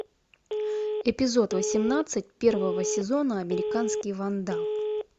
эпизод восемнадцать первого сезона американский вандал